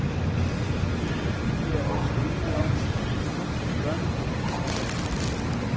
De er også uenige om, hvor store børnegrupper må være.